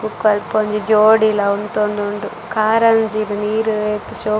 ಬೊಕ ಅಲ್ಪೊಂಜಿ ಜೋಡಿಲ ಉಂತೊಂದುಂಡು ಕಾರಂಜಿಗ್ ನೀರ್ ಏತ್ ಶೋಕು.